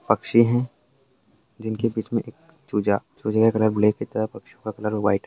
पक्षी है जिनके बीच में एक चूजा चुजे का कलर ब्लैक की तरह पक्षियों का कलर व्हाइट --